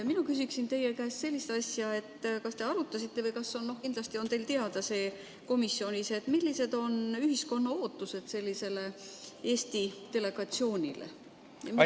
Mina küsin teie käest sellist asja: kas te arutasite või kas on teil teada – kindlasti on teil teada see komisjonis –, millised on ühiskonna ootused sellisele Eesti delegatsioonile?